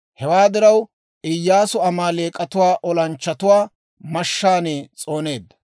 Hewaa diraw, Iyyaasu Amaaleek'atuwaa olanchchatuwaa mashshaan s'ooneedda.